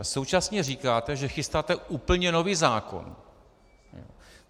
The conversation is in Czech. A současně říkáte, že chystáte úplně nový zákon.